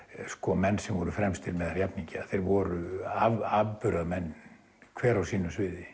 menn sem voru fremstir meðal jafningja þeir voru afburðamenn hver á sínu sviði